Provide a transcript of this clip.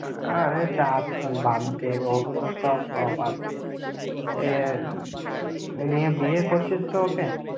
আরে চাপ বাদ দে, ওগুলো সব ব~ বাদ দে। এর নিয়ে বিয়ে করছিস তো ওকে?